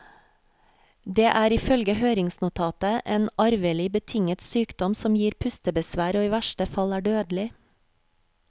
Det er ifølge høringsnotatet en arvelig betinget sykdom som gir pustebesvær og i verste fall er dødelig.